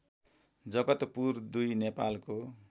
जगतपुर २ नेपालको